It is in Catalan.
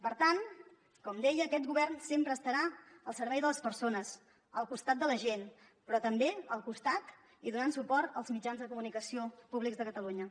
per tant com deia aquest govern sempre estarà al servei de les persones al costat de la gent però també al costat i donant suport als mitjans de comunicació públics de catalunya